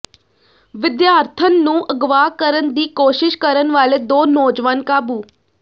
ਵਿਦਿਆਰਥਣ ਨੂੰ ਅਗਵਾ ਕਰਨ ਦੀ ਕੋਸ਼ਿਸ਼ ਕਰਨ ਵਾਲੇ ਦੋ ਨੌਜਵਾਨ ਕਾਬੂ